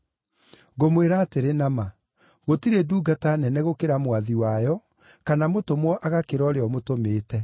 Ngũmwĩra atĩrĩ na ma, gũtirĩ ndungata nene gũkĩra mwathi wayo, kana mũtũmwo agakĩra ũrĩa ũmũtũmĩte.